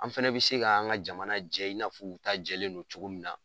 An fɛnɛ bɛ se ka an ŋa jamana jɛ i n'a fɔ u ta jɛlen don cogo min na.